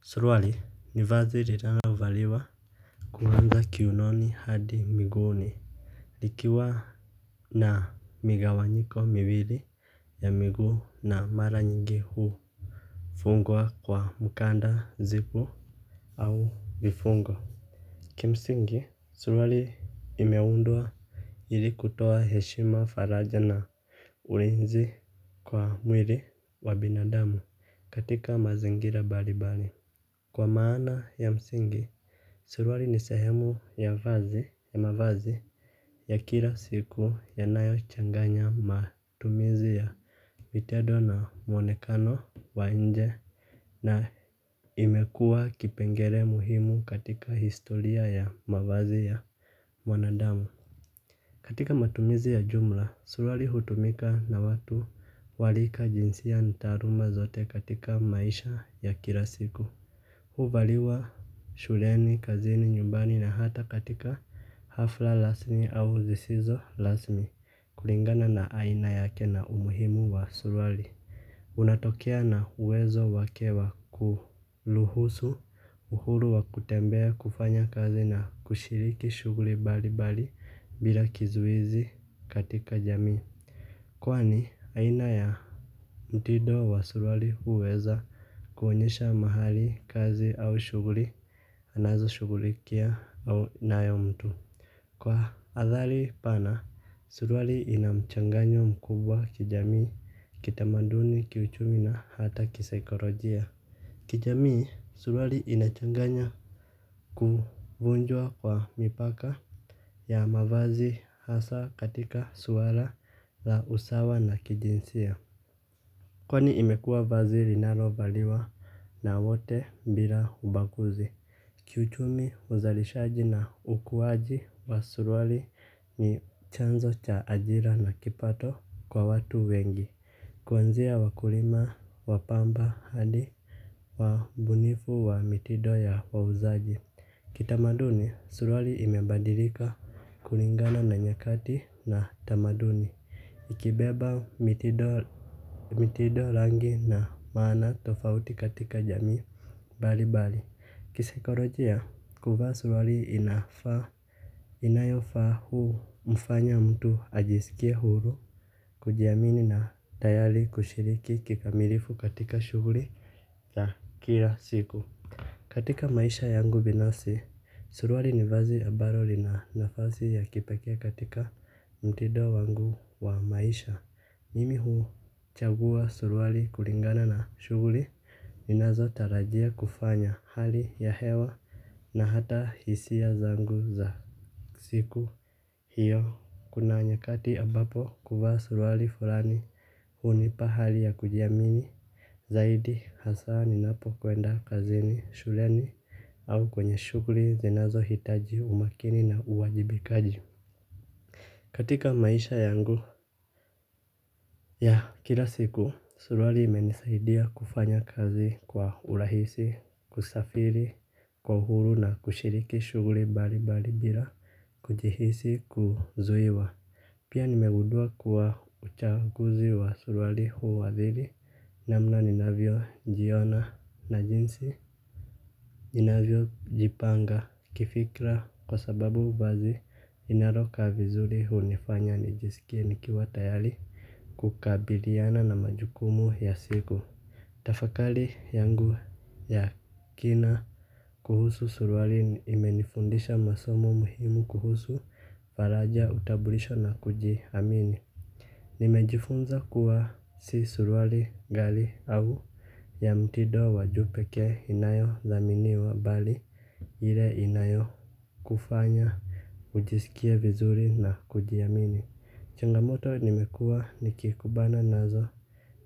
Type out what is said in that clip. Suruali ni vazi linalovaliwa kuanza kiunoni hadi miguuni likiwa na migawanyiko miwili ya miguu na mara nyingi hufungwa kwa mkanda zipu au vifungo. Kimsingi suruali imeundwa ili kutoa heshima faraja na uenzi kwa mwili wa binadamu katika mazingira mbalimbali kwa maana ya msingi, suruali ni sehemu ya mavazi ya kila siku yanayochanganya matumizi ya vitendo na mwonekano wa nje na imekuwa kipengele muhimu katika historia ya mavazi ya wanadamu. Katika matumizi ya jumla, suruali hutumika na watu wa rika jinsia na taaluma zote katika maisha ya kila siku. Huvaliwa shuleni, kazini, nyumbani na hata katika hafla rasmi au zisizo rasmi. Kulingana na aina yake na umuhimu wa suruali unatokea na uwezo wake wa kuruhusu uhuru wa kutembea kufanya kazi na kushiriki shughuli mbalimbali bila kizuizi katika jamii. Kwani aina ya mtindo wa suruali huweza kuonyesha mahali, kazi au shughuli anazoshughulikia au nayo mtu kwa athari pana, suruali ina mchanganyo mkubwa kijamii, kitamaduni, kiuchumi na hata kisaikolojia. Kijamii, suruali inachanganya kuvunjwa kwa mipaka ya mavazi hasa katika swala la usawa na kijinsia. Kwani imekuwa vazi linalovaliwa na wote bila ubaguzi. Kiuchumi uzalishaji na ukuaji wa suruali ni chanzo cha ajira na kipato kwa watu wengi. Kuanzia wakulima wa pamba hadi wabunifu wa mitindo ya wauzaji. Kitamaduni, suruali imebadilika kulingana na nyakati na tamaduni. Ikibeba mitindo rangi na maana tofauti katika jamii mbalimbali kisaikolojia kuvaa suruali inafaa. Inayofaa humfanya mtu ajisikie huru. Kujiamini na tayari kushiriki kikamilifu katika shughuli za kila siku katika maisha yangu binafsi. Suruali ni vazi ambalo lina nafasi ya kipekee katika mtindo wangu wa maisha. Mimi huchagua suruali kulingana na shughuli ninazotarajia kufanya hali ya hewa na hata hisia zangu za siku hiyo. Kuna nyakati ambapo kuvaa suruali fulani hunipa hali ya kujiamini. Zaidi hasa ninapokwenda kazini, shuleni au kwenye shughuli zinazohitaji umakini na uwajibikaji. Katika maisha yangu ya kila siku suruali imenisaidia kufanya kazi kwa urahisi, kusafiri, kwa uhuru na kushiriki shughuli mbalimbali bila kujihisi kuzuiwa. Pia nimegundua kuwa uchaguzi wa suruali huathiri namna ninavyojiona na jinsi ninavyojipanga kifikra kwa sababu vazi linalokaa vizuri hunifanya nijisikie nikiwa tayari kukabiliana na majukumu ya siku. Tafakari yangu ya kina kuhusu suruali imenifundisha masomo muhimu kuhusu faraja utambulisho na kujiamini. Nimejifunza kuwa si suruali ghali au ya mtindo wa juu pekee inayothaminiwa bali ile inayokufanya ujisikie vizuri na kujiamini. Changamoto nimekuwa nikikumbana nazo